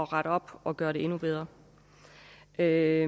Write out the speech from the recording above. rette op og gøre det endnu bedre jeg